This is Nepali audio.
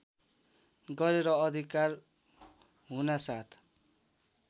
गरेर अधिकार हुनासाथ